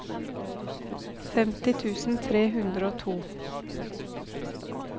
femti tusen tre hundre og to